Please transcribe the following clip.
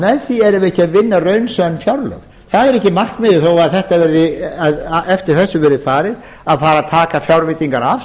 með því erum við ekki að vinna raunsönn fjárlög það er ekki markmiðið þó eftir þessu verði farið að fara að taka fjárveitingar af